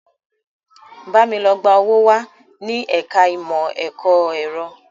Bámi lọ gba owó wá ní ẹ̀ka ìmọ̀ ẹ̀kọ́ ẹ̀rọ!